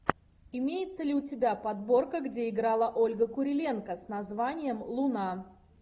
имеется ли у тебя подборка где играла ольга куриленко с названием луна